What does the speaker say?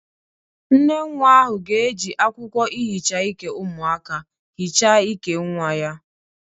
Nnenwa ahụ ga-eji akwụkwọ ihicha ike umụaka hicha ike nwa ya